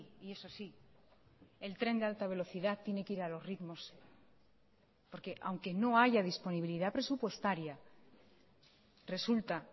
y eso sí el tren de alta velocidad tiene que ir a los ritmos porque aunque no haya disponibilidad presupuestaria resulta